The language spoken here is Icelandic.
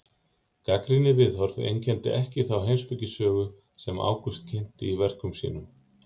Gagnrýnið viðhorf einkenndi ekki þá heimspekisögu sem Ágúst kynnti í verkum sínum.